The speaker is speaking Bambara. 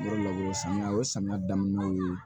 Yɔrɔ laburu samiya o ye samiya daminɛw ye